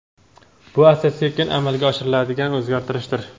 bu asta sekin amalga oshiriladigan o‘zgartirishdir.